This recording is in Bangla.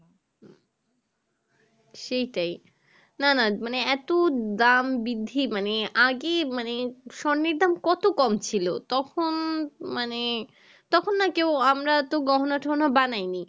সেটাই না না মানে এত দাম বৃদ্ধি মানে আগেই মানে স্বর্ণের দাম কত কম ছিলো তখন মানে তখন না কেউ আমরা তো গহনা টহনা বানাইনি